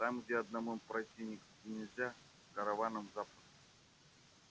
там где одному пройти никак нельзя а с караваном запросто